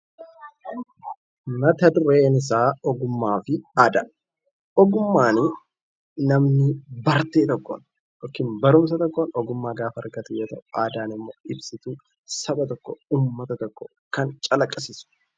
Mata dureen isaa ogummaa fi aadaa Ogummaanii namni barate tokko yookaan barumsa tokkoon ogummaa gaafa argatu jechuudha. Aadaan immoo ibsituu saba tokkoo, uummata tokkoo, kan calaqisiisu.